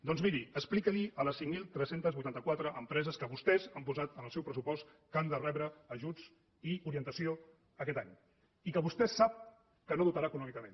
doncs miri expliqui ho a les cinc mil tres cents i vuitanta quatre empreses que vostès han posat en el seu pressupost que han de rebre ajuts i orientació aquest any i que vostè sap que no dotarà econòmicament